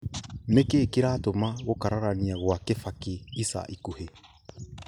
Nĩ kĩĩ kĩratũma gũkararania gwa kibaki ica ikuhĩ